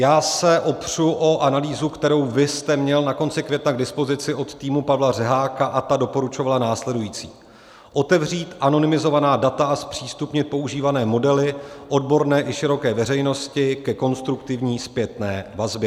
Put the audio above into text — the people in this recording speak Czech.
Já se opřu o analýzu, kterou vy jste měl na konci května k dispozici od týmu Pavla Řeháka, a ta doporučovala následující: otevřít anonymizovaná data a zpřístupnit používané modely odborné i široké veřejnosti ke konstruktivní zpětné vazbě.